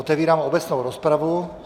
Otevírám obecnou rozpravu.